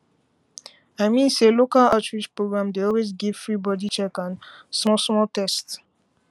i mean say local outreach program dey always give free body check and and small small test